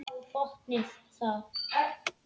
Botnið það!